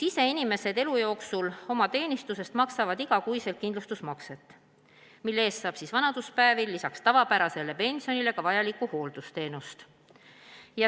Inimesed maksavad tööl käies oma teenistusest iga kuu kindlustusmakset, mille eest saab vanaduspäevil lisaks tavapärasele pensionile ka vajalikku hooldusteenust.